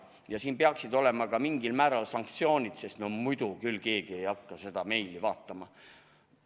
Ja siin peaksid olema ka mingil määral sanktsioonid, sest muidu küll keegi ei hakka seda meili vaatama.